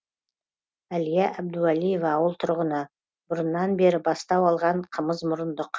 әлия әбдуәлиева ауыл тұрғыны бұрыннан бері бастау алған қымызмұрындық